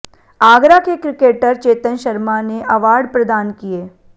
आगरा के क्रिकेटर चेतन शर्मा ने अवार्ड प्रदान किए